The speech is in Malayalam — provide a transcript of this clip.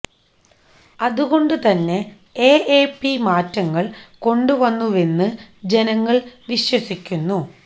അതുകൊണ്ട് തന്നെ എ എ പി മാറ്റങ്ങള് കൊണ്ടുവന്നുവെന്ന് ജനങ്ങള് വിശ്വസിക്കുന്നു